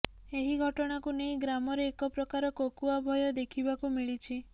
ଏହି ଘଟଣାକୁ ନେଇ ଗ୍ରାମରେ ଏକପ୍ରକାର କୋକୁଆଭୟ ଦେଖିବାକୁ ମିଳିଛି